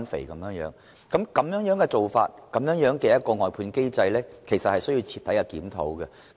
這樣的做法和外判機制，其實需要徹底檢討。